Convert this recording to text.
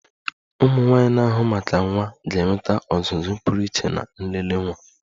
ụmụnwaanyi na-ahụ maka nwa ga-enweta ọzụzụ pụrụ iche na nlele nwa